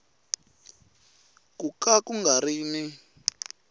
ku ka u nga ri